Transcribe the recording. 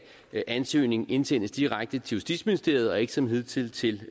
ansøgning indsendes direkte til justitsministeriet og ikke som hidtil til